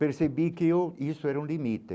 Percebi que eu isso era um limite.